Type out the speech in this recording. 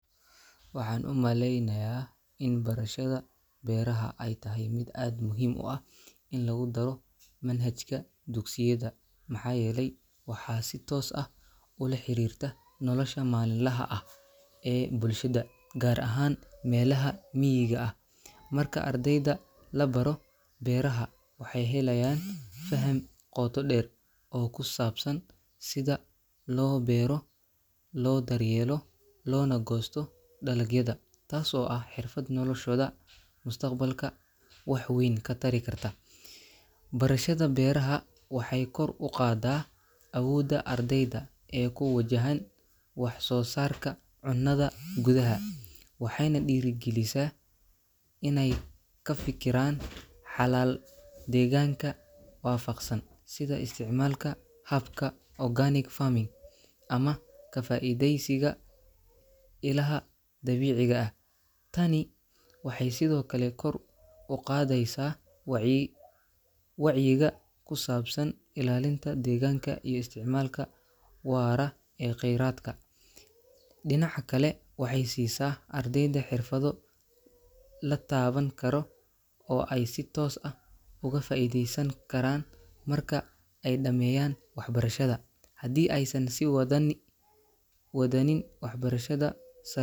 Waxaan u maleynayaa in barashada Beeraha ay tahay mid aad muhiim u ah in lagu daro manhajka dugsiyada maxaa yeelay waxay si toos ah ula xiriirtaa nolosha maalinlaha ah ee bulshada, gaar ahaan meelaha miyiga ah. Marka ardayda la baro beeraha, waxay helayaan faham qoto dheer oo ku saabsan sida loo beero, loo daryeelo, loona goosto dalagyada, taasoo ah xirfad noloshooda mustaqbalka wax weyn ka tari karta. Barashada beeraha waxay kor u qaaddaa awoodda ardayda ee ku wajahan wax-soo-saarka cunnada gudaha, waxayna dhiirrigelisaa inay ka fikiraan xalal deegaanka waafaqsan, sida isticmaalka hababka organic farming ama ka faa’iidaysiga ilaha dabiiciga ah. Tani waxay sidoo kale kor u qaadaysaa wac wacyiga ku saabsan ilaalinta deegaanka iyo isticmaalka waara ee kheyraadka. Dhinaca kale, waxay siisaa ardayda xirfado la taaban karo oo ay si toos ah uga faa’iideysan karaan marka ay dhammeeyaan waxbarashada, haddii aysan sii wa wadani wadanin waxbarashada sa.